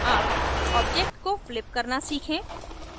अब object को flip करना सीखें